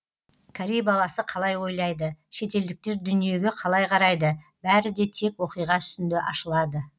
корей баласы қалай ойлайды шетелдіктер дүниеге қалай қарайды бәрі де тек оқиға үстінде ашылады